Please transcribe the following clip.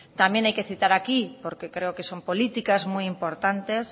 también hay que citar aquí porque creo que son políticas muy importantes